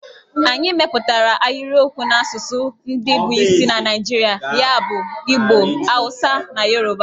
Anyị mepụtara ahịrịokwu n'asụsụ ndị bụ isi na Naijirịa ya bụ Igbo, Awụsa na Yoruba.